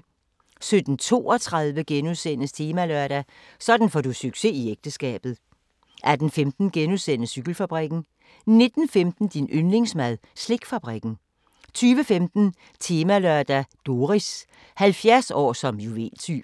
17:32: Temalørdag: Sådan får du succes i ægteskabet * 18:15: Cykelfabrikken * 19:15: Din yndlingsmad: Slikfabrikken 20:15: Temalørdag: Doris – 70 år som juveltyv